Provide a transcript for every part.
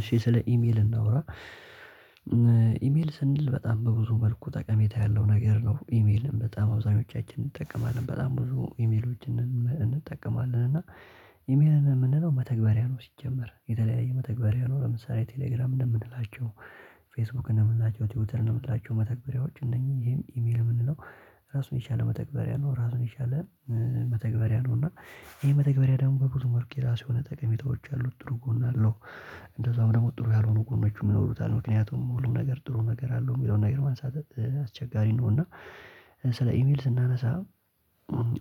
እሺ ስለ ኢሜል እናውራ ኢሜል ስንል በጣም በብዙ መልኩ ጠቀሜታ ያለው ነገር ነው። ኢሜልም በጣም አብዛኛዎቻችንን እንጠቀማለን በጣም ብዙ ኢሜሎችን እንጠቀማለን። እና ኢሜልን የምንለው መተግበሪያ ነው ሲጀመር የተለያየ መተግበሪያ ነው። ለምሳሌ ቴሌግራም እንደምንላቸው ፌስቡክ እንደምንላቸው ቲዩብል እንደምንላቸው መተግበሪያዎች እነኚህን ይሄን ኢሜል የምንለው። ራሱን የቻለ መተግበሪያ ነው ራሱን የቻለ መተግበሪያ ነው። እና ይሄ መተግበሪያ ደግሞ በብዙ መልኡ ራሱ የሆነ ጠቀሜታዎች አሉ ጥሩ ጎን አለው። እንደዛውም ደግሞ ጥሩ ያልሆኑ ጎኖቹም ይኖሩታል ምክንያቱም ሙሉ ነገር ጥሩ ነገር አለው የሚለውን ነገር ማንሳተት አስቸጋሪ ነው። እና ስለ ኢሜል ስናነሳ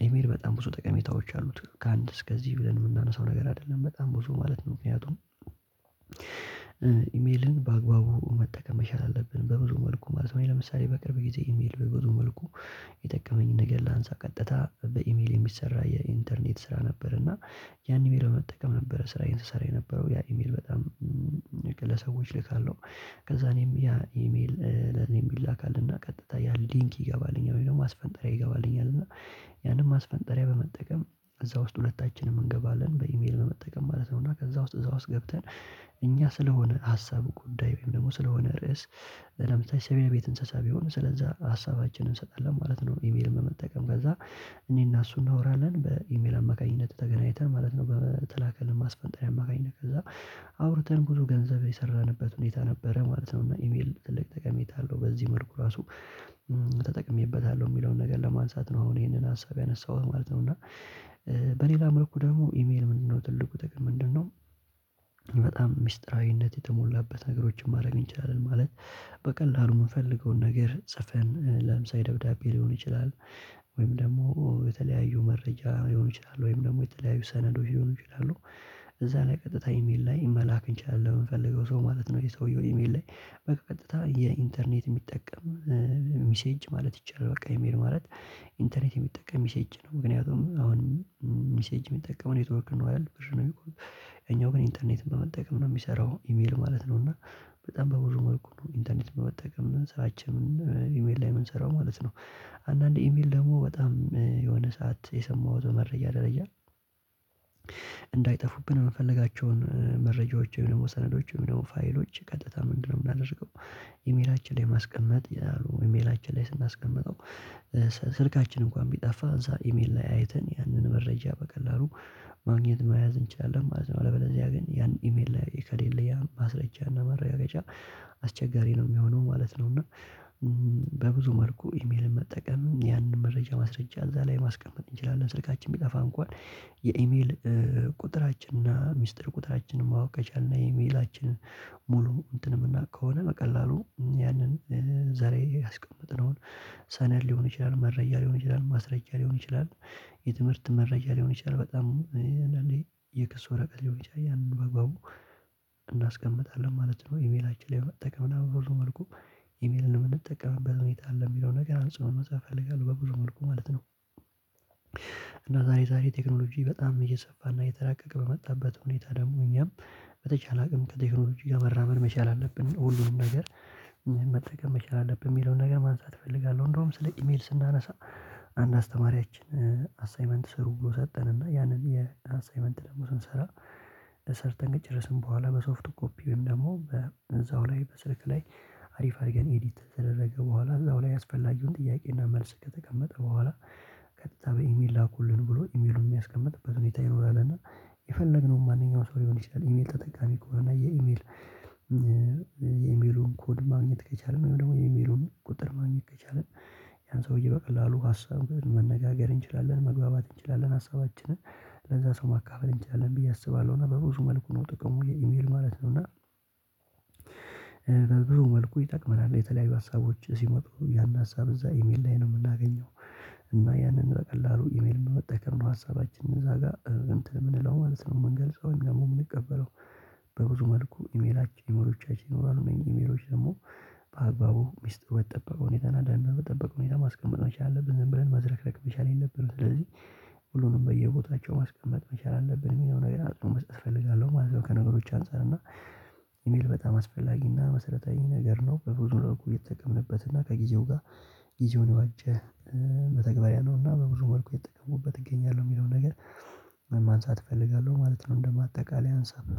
ኢሜል በጣም ብዙ ጠቀሜታዎች አሉት ከአንድ እስከዚህ ብለን የምናነሳው ነገር አይደለም በጣም ብዙ ማለት ነው። ምክንያቱም ኢሜልን በአግባቡ መጠቀም መቻል አለብን በብዙ መልኩ ማለት ነው። ለምሳሌ በቅርብ ጊዜ ኢሜል በብዙ መልኩ የጠቀመኝን ነገር ላንሳ ቀጥታ በኢሜል የሚሰራ የኢንተርኔት ስራ ነበር። እና ያን የሚለው መጠቀም ነበረ ስራ ይሰሰራ የነበረው ያ ኢሜል በጣም ለሰዎች ልካለሁ። ከዛ እኔም ያ ኢሜል ለኔም የሚላክ አለና ቀጥታ ያን ሊንክ ይገባልኝ አሁን ማስፈንጠሪያ ይገባልኛል እና ያንን ማስፈንጠሪያ በመጠቀም እዛ ውስጥ ሁለታችንም እንገባለን በኢሜል በመጠቀም ማለት ነው። እና ከዛ ውስጥ እዛ ውስጥ ገብተን እኛ ስለሆነ ሀሳብ ጉዳይም ደግሞ ስለሆነ ርዕስ ለምሳሌ ሰብያ ቤት እንስሳ ቢሆን ስለዛ ሀሳባችንን እንሰጣለን ማለት ነው። ኢሜል በመጠቀም ከዛ እኔና እሱ እንናወራለን በኢሜል አማካኝነት ተገናኝተን ማለት ነው። በተላከል ማስፈንጠሪያ ማግኘት ከዛ አውርተን ብዙ ገንዘብ የሰራንበት ሁኔታ ነበረ ማለት ነው። እና ኢሜል ትልቅ ተቀሜታ አለው በዚህ መልኩ ራሱ ተጠቅሜበታለሁ የሚለውን ነገር ለማንሳት ነው። አሁን ይሄንን ሀሳብ ያነሳሁት ማለት ነው። እና በሌላ መልኩ ደግሞ ኢሜል ምንድነው? ትልቁ ተገኝ ምንድነው? በጣም ሚስጥራዊነት የተሞላበት ነገሮችን ማድረግ እንችላለን ማለት። በቀላሉ የምፈልገውን ነገር ጽፈን ለምሳሌ ደብዳቤ ሊሆን ይችላል። ወይም ደግሞ የተለያዩ መረጃ ሊሆን ይችላል ወይም ደግሞ የተለያዩ ሰነዶች ሊሆኑ ይችላሉ። እዛ ላይ ቀጥታ ኢሜል ላይ መላክ እንችላለን የምንፈልገው ሰው ማለት ነው። የሰውየው ኢሜል ላይ በቃ ቀጥታ የኢንተርኔት የሚጠቀም ሚሴጅ ማለት ይቻላል። በቃ የሚሄድ ማለት ኢንተርኔት የሚጠቀም ሚሴጅ ነው። ምክንያቱም አሁን ሚሴጅ የሚጠቀመው ነው የተወርክነው ብር ነው የሚቆም የኛው ግን ኢንተርኔትን በመጠቀም ነው የሚሰራው ኢሜል ማለት ነው። እና በጣም በብዙ መልኩ ነው ኢንተርኔት በመጠቀም ስራቸውን ኢሜል የምንሰራው ማለት ነው። አንዳንዴ ኢሜል ደግሞ በጣም የሆነ ሰዓት የሰማሁት መረጃ ደረጃ እንዳይጠፉብን የምፈልጋቸውን መረጃዎች ወይም ደግሞ ሰነዶች ወይም ደግሞ ፋይሎች ቀጥታ ምንድነው የምናደርገው? ኢሜላችን ላይ ማስቀመጥ ያሉ ኢሜላችን ላይ ስናስቀምጠው ስልካችን እንኳን ቢጠፋ እዛ ኢሜል ላይ አይተን ያንን መረጃ በቀላሉ ማግኘት መያዝ እንችላለን ማለት ነው። ለበለዚያ ያገኘነው ያን ኢሜል ላይ ከሌለ ያ ማስረጃ እና መረጋገጫ አስቸጋሪ ነው የሚሆነው ማለት ነው። እና በብዙ መልኩ ኢሜል መጠቀም ያንን መረጃ ማስረጃ እዛ ላይ ማስቀመጥ እንችላለን። ስልካችን የሚጠፋ እንኳን የኢሜል ቁጥራችንና ሚስጥር ቁጥራችንን ማወቅ ቻልና ኢሜላችንን ሙሉ እንትን የምናውቅ ከሆነ በቀላሉ ያንን ዘሬ ያስቀመጥነውን ሰነድ ሊሆን ይችላል መረጃ ሊሆን ይችላል ማስረጃ ሊሆን ይችላል። የትምህርት መረጃ ሊሆን ይችላል በጣም እንደኔ የክስ ወረቀት ሊሆን ይችላል ያንን በግባቡ እናስቀምጣለን ማለት ነው። ኢሜላችን ላይ መጠቀም ነው ሁሉ መልኩ ኢሜልን የምንጠቀምበት ሁኔታ አለ የሚለው ነገር አንፃር መጽሐፍ እፈልጋለሁ በብዙ መልኩ ማለት ነው። እና ዛሬ ዛሬ ቴክኖሎጂ በጣም እየሰፋና እየተራቀቀ በመጣበት ሁኔታ ደግሞ እኛም በተቻለ አቅም ከቴክኖሎጂ እያበራበር መቻል አለብን። ሁሉንም ነገር መጠቀም መቻል አለብን የሚለውን ነገር ማንሳት እፈልጋለሁ። እንደውም ስለ ኢሜል ስናነሳ አንድ አስተማሪያችን አሳይመንት ስር ውጎ ሰጠን ያንን የአሳይመንት ደግሞ ስንሰራ እሰር ጠንቅቅ ይረስን በኋላ በሶፍቱ ኮፒም ደግሞ በዛው ላይ በስልክ ላይ አሪፍ አድርገን ኤዲት ተደረገ በኋላ እዛው ላይ ያስፈላጊውን ጥያቄና መልስ ከተቀመጠ በኋላ ቀጥታ በኢሜል ላኩልን ብሎ ኢሜሉን የሚያስቀምጥበት ሁኔታ ይኖራል። እና የፈለግነውን ማንኛውም ሰው ሊሆን ይችላል ኢሜል ተጠቃሚ እኮ እና የኢሜል የኢሜሉን ኮድ ማግኘት ከቻልን ወይም ደግሞ የኢሜሉን ቁጥር ማግኘት ከቻለ ያን ሰውዬ በቀላሉ ሀሳብ መነጋገር እንችላለን መግባባት እንችላለን። ሀሳባችንን ለዛ ሰው ማካፈል እንችላለን ብዬ አስባለሁ። እና በብዙ መልኩ ነው ጥቅሙ የኢሜል ማለት ነው። እና በብዙ መልኩ ይጠቅመናል የተለያዩ ሀሳቦች ሲመጡ ያን ሀሳብ እዛ ኢሜል ላይ ነው የምናገኘው። እና ያንን ቀላሉ ኢሜል እንደመጠቀም ነው ሀሳባችንን እዛ ጋር እንትን የምንለው ማለት ነው። የምንገልጸው ደግሞ የምንቀበለው። በብዙ መልኩ ኢሜላችን ኢሜሎቻችን ይኖራሉ እኔ ኢሜሎች ደግሞ በአግባቡ ሚስጥር በተጠበቀው የተናዳና በጠበቀው ሁኔታ ማስቀመጥ መቻል አለብን። ብለን መዝረክረክ መቻል የለብንም። ስለዚህ ሁሉንም በየቦታቸው ማስቀመጥ መቻል አለብን የሚለውን ነገር አጽንኦት መስጠት እፈልጋለሁ። ማለት ከነገሮች አንፃር እና ኢሜል በጣም አስፈላጊና መሰረታዊ ነገር ነው። በብዙ ለመሆን የተጠቀምንበት እና ከጊዜው ጋር ጊዜውን ያዋጀ በተግባር ያለውና በብዙ መልኩ የተጠቀሙበት እገኛለሁ የሚለውን ነገር ማንሳት እፈልጋለሁ ማለት ነው። እንደማጠቃለል ያንሳል።